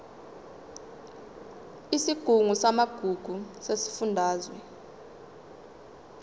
isigungu samagugu sesifundazwe